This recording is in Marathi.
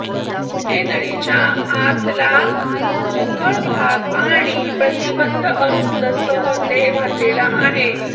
हे नळीच्या आतला पोकळ भाग आणि प्रतिबंध अरुंद सह ने भरलेला आहे